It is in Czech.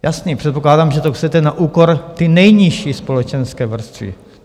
Jasně, předpokládám, že to chcete na úkor té nejnižší společenské vrstvy.